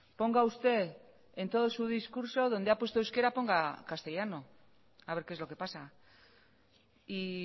ponga usted en todo su discurso donde ha puesto euskera ponga castellano a ver que es lo que pasa y